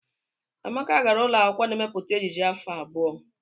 Amaka gara ụlọ akwụkwọ na-emepụta ejiji afọ abụọ.